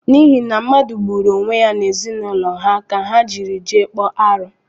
N’ihi na mmadu gburu onwe ya n’ezinaụlọ ha ka ha jiri jee kpọọ aru